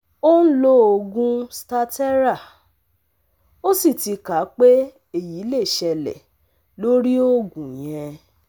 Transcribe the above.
O n lo oogun staterra, ó sì ti kà pé eyi lè ṣẹlẹ̀ lórí oògùn yẹn